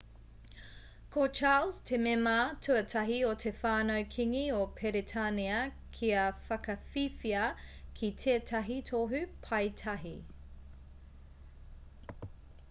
ko charles te mema tuatahi o te whānau kīngi o peretānia kia whakawhiwhia ki tētahi tohu paetahi